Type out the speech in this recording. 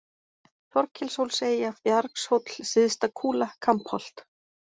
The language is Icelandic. Þorkelshólseyja, Bjargshóll, Syðsta-Kúla, Kambholt